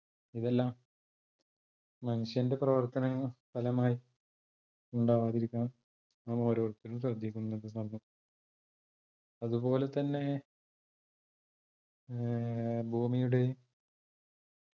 ഇതെല്ലാം മനുഷ്യന്റെ പ്രവർത്തന ഫലമായി ഉണ്ടാവാതിരിക്കാൻ നാം ഓരോരുത്തരും ശ്രദ്ദിക്കുന്നുണ്ട് സംഭവം അത്പോലെ തന്നെ അഹ് ഭൂമിയുടെ